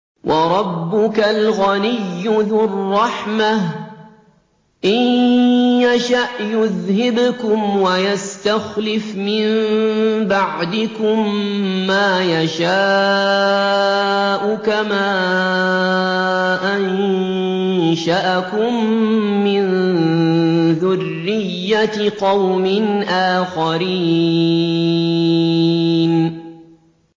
وَرَبُّكَ الْغَنِيُّ ذُو الرَّحْمَةِ ۚ إِن يَشَأْ يُذْهِبْكُمْ وَيَسْتَخْلِفْ مِن بَعْدِكُم مَّا يَشَاءُ كَمَا أَنشَأَكُم مِّن ذُرِّيَّةِ قَوْمٍ آخَرِينَ